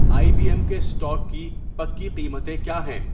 آئی B M کے stock کی پکی قیمتیں کیا ہیں